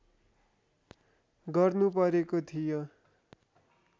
गर्नु परेको थियो